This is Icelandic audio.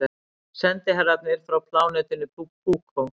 Sendiherrarnir frá plánetunni Púkó.